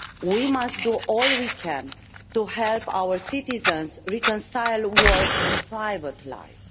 We must do all we can to help our citizens reconcile work and private life.